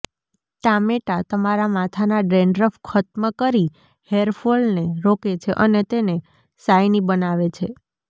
ટામેટા તમારા માથાના ડેન્ડ્રફ ખત્મ કરી હેર ફોલને રોકે છે અને તેને શાઈની બનાવે છે